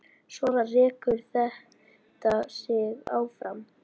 Svona rekur þetta sig áfram.